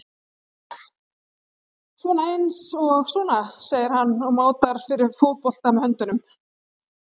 Svona eins og sona, segir hann og mátar fyrir fótbolta með höndunum.